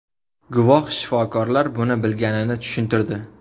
Guvoh shifokorlar buni bilganini tushuntirdi.